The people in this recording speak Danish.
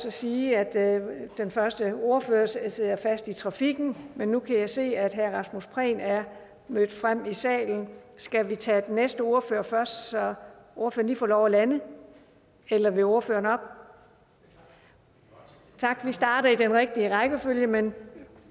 at sige at den første ordfører sidder fast i trafikken men nu kan jeg se at herre rasmus prehn er mødt frem i salen skal vi tage den næste ordfører først så ordføreren får lov at lande eller vil ordføreren op tak vi starter i den rigtige rækkefølge men